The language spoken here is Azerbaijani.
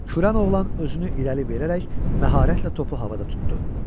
Kürən oğlan özünü irəli verərək məharətlə topu havada tutdu.